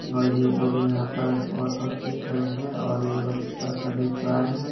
और ये लोग यहाँ पर बहोत मस्ती करेंगे और ये लोग ऊपर से देख रहे है।